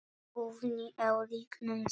Guðni á lygnum sjó?